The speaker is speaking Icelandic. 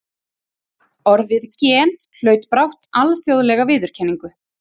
Orðið gen hlaut brátt alþjóðlega viðurkenningu.